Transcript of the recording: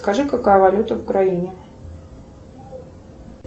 скажи какая валюта в украине